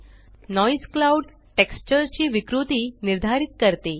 noise cloud texture ची विकृती निर्धारित करते